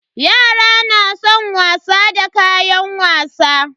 Yara na san wasa da kayan wasa.